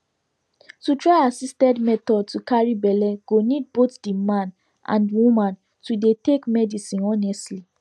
to try assisted method to carry belle go need both the man and woman to dey take medicinehonestly